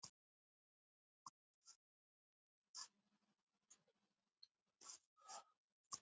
Hér er hann.